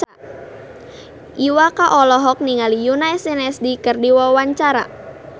Iwa K olohok ningali Yoona SNSD keur diwawancara